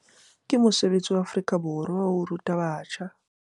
Ke mosebetsi wa Afrika Borwa waho ruta batjha